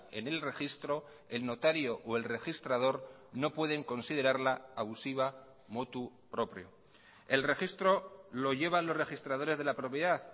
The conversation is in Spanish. en el registro el notario o el registrador no pueden considerarla abusiva motu propio el registro lo llevan los registradores de la propiedad